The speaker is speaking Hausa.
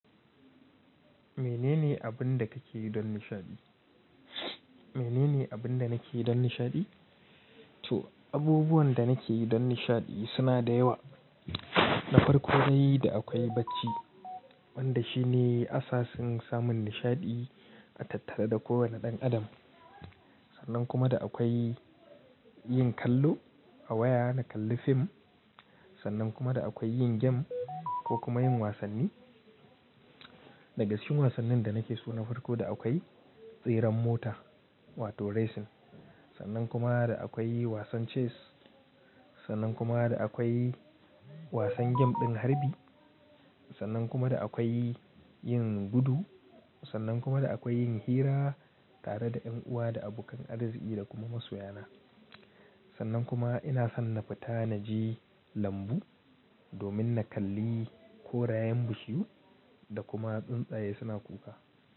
Menene abin da kake yi don nishaɗi? Menene abin da nake yi don nishaɗi? To abubuwan da nake yi don nishaɗi suna da yawa. Na farko dai da akwai bacci wanda shine asasin samun nishaɗi a tattare da kowane ɗan adam. Sannan kuma da akwai yin kallo a waya na kalli fim, sannan kuma da akwai yin game ko kuma yin wasanni. Daga cikin wasannin da nake so na farko da akwai tseren mota wato racing. Sannan kuma da akwai wasan chess, sannan kuma da akwai wasan game ɗin harbi, sannan kuma da akwai yin gudu, sannan kuma da akwai yin hira tare da ƴan uwa da abokan arziki da kuma masoya na. Sannan kuma ina son na fita naje lambu domin na kalli korayen bishiyu da kuma tsuntsaye suna kuka.